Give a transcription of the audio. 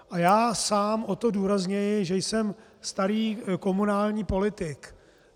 A já sám o to důrazněji, že jsem starý komunální politik.